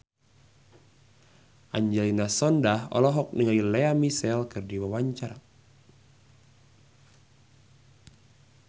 Angelina Sondakh olohok ningali Lea Michele keur diwawancara